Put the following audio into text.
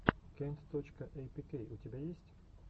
кент точка эйпикей у тебя есть